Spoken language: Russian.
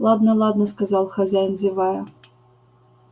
ладно ладно сказал хозяин зевая